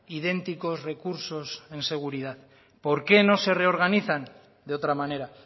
idénticos recursos en seguridad por qué no se reorganizan de otra manera